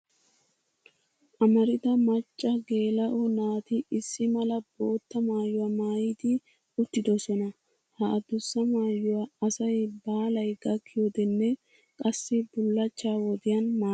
Amarida macca geela'o naati issi mala bootta maayuwa maayidi uttidosona. Ha adussa maayuwaa asay baalay gakkiyodenne qassi bullachcha wodiyan maayes.